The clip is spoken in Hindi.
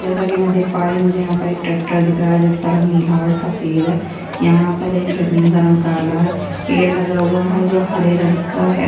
जैसा की मै देख पा रही हु मुझे यहाँ पर एक ट्रेक्टर दिख रहा है जिसका रंग नीला और सफ़ेद है यहाँ पर एक जमीन का रंग काला है पेड़ लगा हुआ है जो हरे रंग का है।